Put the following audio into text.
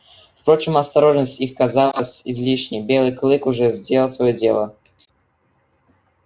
впрочем осторожность их казалась излишней белый клык уже сделал своё дело